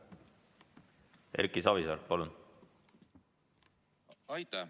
Erki Savisaar, palun!